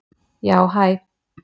Já hæ.